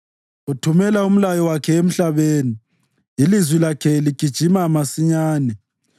Uthumela umlayo wakhe emhlabeni; ilizwi lakhe ligijima masinyane.